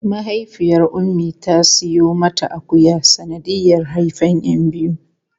Mahaifiyar Ummi ta siyo mata akuya sanadiyar haifan 'yan biyu.